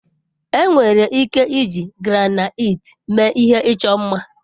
Enwere ike iji granaiti mee ihe ịchọ mma.